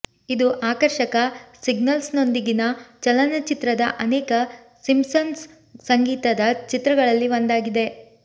ಇದು ಆಕರ್ಷಕ ಸಿಂಗಲ್ಸ್ನೊಂದಿಗಿನ ಚಲನಚಿತ್ರದ ಅನೇಕ ಸಿಂಪ್ಸನ್ಸ್ ಸಂಗೀತದ ಚಿತ್ರಗಳಲ್ಲಿ ಒಂದಾಗಿದೆ